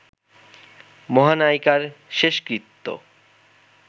মহানায়িকার শেষকৃত্য